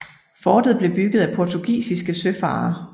Fortet blev bygget af portugisiske søfarere